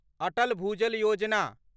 Atal Bhujal Yojana